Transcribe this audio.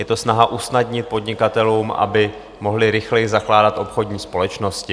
Je to snaha usnadnit podnikatelům, aby mohli rychleji zakládat obchodní společnosti.